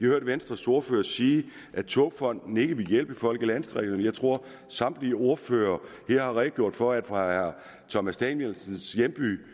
hørt venstres ordfører sige at togfonden dk ikke ville hjælpe folk i landdistrikterne jeg tror samtlige ordførere her har redegjort for at det fra herre thomas danielsens hjemby